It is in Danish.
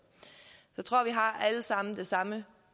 jeg tror vi alle sammen har det samme